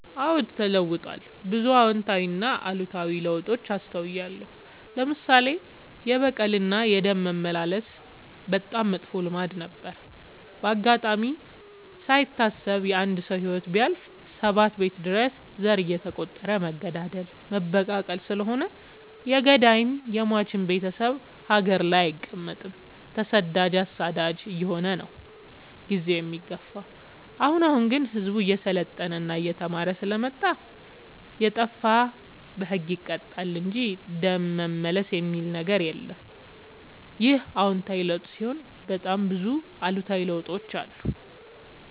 አዎድ ተለውጧል ብዙ አዎታዊ እና አሉታዊ ለውጥ አስታውያለሁ። ለምሳሌ፦ የበቀል እና የደም መመላለስ በጣም መጥፎ ልማድ ነበረ። በአጋጣሚ ካይታሰብ የአንድ ሰው ህይወት ቢያልፍ ሰባት ቤት ድረስ ዘር እየተ ቆጠረ መገዳደል መበቃቀል ስለሆነ የገዳይም የሞችም ቤቴሰብ ሀገር ላይ አይቀ መጥም ተሰዳጅ አሳዳጅ አየሆነ ነው። ጊዜውን የሚገፋው። አሁን አሁን ግን ህዝቡ እየሰለጠና እየተማረ ስለመጣ። የጣፋ በህግ ይቀጣል እንጂ ደም መልስ የሚበል ነገር የለም ይህ አዎታዊ ለውጥ ሲሆን በጣም ብዙ አሉታዊ ለውጦችም አሉ።